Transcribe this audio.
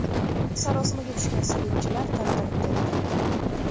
Sarosimaga tushgan salibchilar tarqalib ketdi.